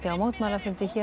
mótmælafundi hér